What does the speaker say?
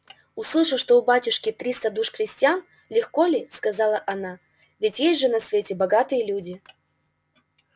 услыша что у батюшки триста душ крестьян легко ли сказала она ведь есть же на свете богатые люди